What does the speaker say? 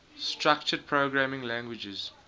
structured programming languages